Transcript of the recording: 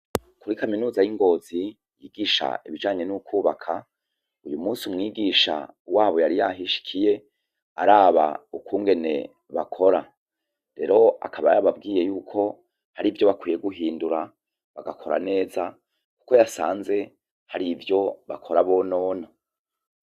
Muri Kaminuza y'Ingozi ,bigisha ibijanye n'ukubaka, uyumusi Umwigisha wabo yari yahishikiye araba ukungene bakora, rero akaba yababwiye Ko harivyo bakwiye guhindura bagakora neza kuko yasanze harivyo bakora bonona.